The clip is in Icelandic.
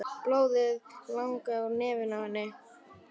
Blóðið lagaði úr nefinu á henni.